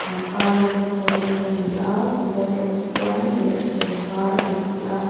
pangpar rawng chu a eng ani a mizo tawng chuan derhken par an ti a--